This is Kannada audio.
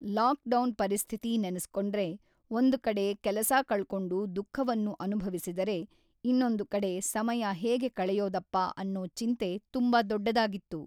ಲಾಕ್‌ಡೌನ್‌ ಪರಿಸ್ಥಿತಿ ನೆನೆಸ್ಕೊಂಡ್ರೆ ಒಂದು ಕಡೆ ಕೆಲಸ ಕಳ್ಕೊಂಡು ದುಃಖವನ್ನು ಅನುಭವಿಸಿದರೆ ಇನ್ನೊಂದು ಕಡೆ ಸಮಯ ಹೇಗೆ ಕಳೆಯೋದಪ್ಪ ಅನ್ನೋ ಚಿಂತೆ ತುಂಬ ದೊಡ್ಡದಾಗಿತ್ತು